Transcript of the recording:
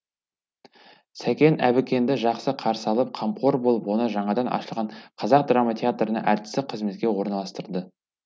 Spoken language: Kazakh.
сәкен әбікенді жақсы қарсы алып қамқор болып оны жаңадан ашылған қазақ драма театрына әртістік қызметке орналастырды